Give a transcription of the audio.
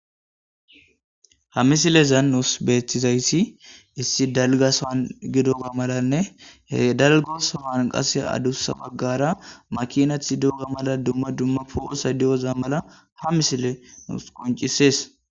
ha misilezan nus beetizayssi issi dalga san gidoga malanne he dalga san qase adussa baggara makinati doga mala dumma dumma po'osay doza mala ha misile nus qoncisees